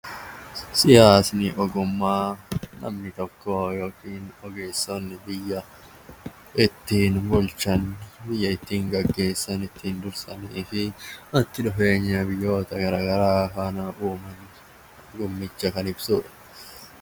Siyaasni ogummaa namni tokko yookiin ogeessonni biyya ittiin gaggeessanii fi walitti dhufeenya biyyoota garaagaraa faana uuman kan ibsudha